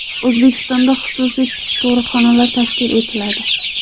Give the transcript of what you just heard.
O‘zbekistonda xususiy tug‘ruqxonalar tashkil etiladi.